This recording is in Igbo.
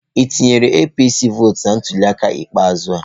Ị tụnyere APC vọọtụ na ntuliaka ikpeazụ a?